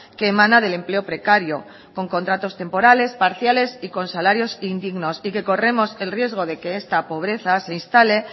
que emana del empleo precario con contratos temporales parciales y con salarios indignos y que corremos el riesgo de que esta pobreza se instale